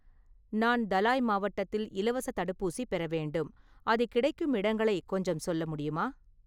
நான் தலாய் மாவட்டத்தில் இலவசத் தடுப்பூசி பெற வேண்டும், அது கிடைக்கும் இடங்களை கொஞ்சம் சொல்ல முடியுமா?